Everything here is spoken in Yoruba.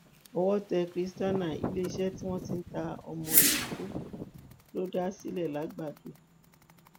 owó tẹ christiana iléeṣẹ tí wọn ti ń ta ọmọ ìkókó ló dá sílẹ làgbàdo